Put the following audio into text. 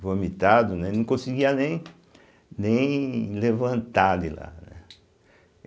Vomitado, né, não conseguia nem nem levantar de lá, né.